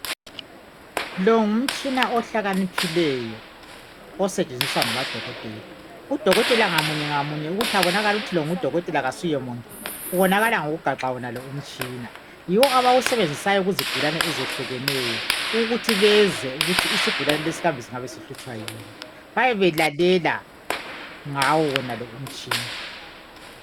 Lo ngumtshina ohlakaniphileyo osetshenziswa ngamadokotela Udokotela ngamunye ngamunye ukuthi abonakale ukuthi lo ngudokotela kasuyemuntu ubonakala ngokugaxa wonalo umtshina .Yiwo abayiwusebenzisayo kuzigulane ezehlukeneyo ukuthi bezwe ukuthi isigulane singabe sihlutshwa yini Bayabe belalela ngawo wonalo umtshina